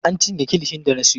An cinye kilishin da na siyo.